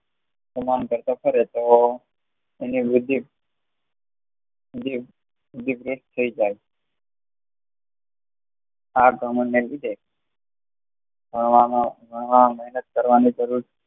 તમામ કરતો ફરે તોહ તેની વૃદ્ધિ વૃદ્ધિ વરુસત થાય જાય આ ઘમંડ લીધે ભણવાના માં મેહનત કરવાની જરૂર